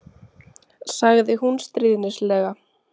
sagði hún stríðnislega.